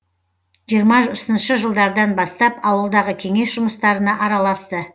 жиырмасыншы жылдардан бастап ауылдағы кеңес жұмыстарына араласты